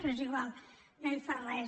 però és igual no hi fa res